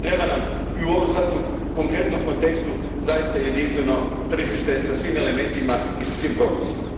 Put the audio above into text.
Treba nam, i u ovom sasvim konkretnom kontekstu, zaista jedinstveno tržište sa svim elementima i sa svim propisima.